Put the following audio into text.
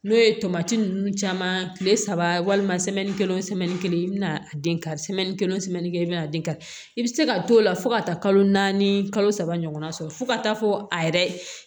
N'o ye tomati ninnu caman kile saba walima kelen kelen i bɛna den ka kelen kelen bɛ na den kari i bɛ se ka t'o la fo ka taa kalo naani kalo saba ɲɔgɔnna sɔrɔ fo ka taa fɔ a yɛrɛ